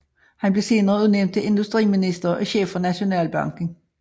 Han blev senere udnævnt til industriminister og chef for Nationalbanken